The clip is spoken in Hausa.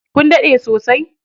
Kun daɗe sosai?